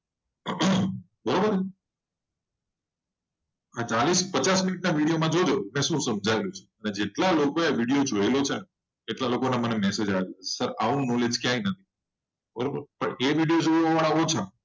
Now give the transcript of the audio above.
બારોબાર ચાલીસ આ પચાસ મિનટ ના વિડિયો માં જોજો કે સુ સમઝયું ને જેટલા લોકો એ વિડિયો જોયો છે. એ લોકો નો મને મેસેજ આવ્યો કે આવો નોલેજ ક્યાય નથી બારોબાર પન એ વિડિયો જોવા વડા ઓછા.